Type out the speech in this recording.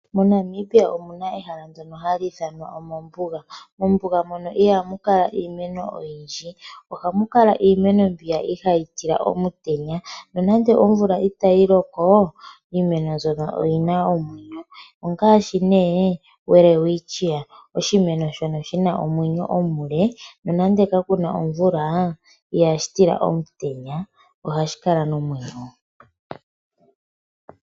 MoNamibia omuna ehala ndyono hali ithanwa ombuga. Mombuga ihamu kala iimeno oyindji, ohamu kala iimeno mbyoka ihayi tila omutenya nonando omvula itayi loko iimeno mbyono oyina omwenyo. Iimeno ongaashi Welwitchia oshimeno shono shina omwenyo omuke nonando okuna omutenya ihashi gutila.